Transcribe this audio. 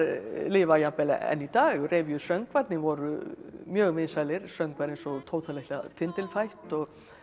lifa jafnvel enn í dag voru mjög vinsælir söngvar eins og Tóta litla tindilfætt og